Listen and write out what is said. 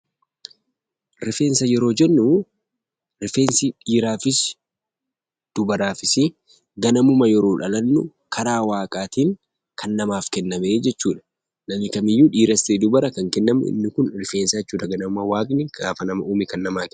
Rifeensa yeroo jennuu rifeensi dhiiraafis dubaraafisii ganamuma yeroo dhalannu karaa waaqaatiin kan namaaf kennamee jechuudha. Namni kamiyyuu dhiiras ta'e dubara kan kennamu inni kun rifeensaa jechuudha. Ganamuma waaqni gaafa nama uume kan namaa kennu.